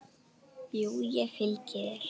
Jú, ég fylgi þér.